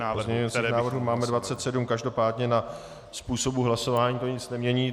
Takže pozměňovacích návrhů máme 27, každopádně na způsobu hlasování to nic nemění.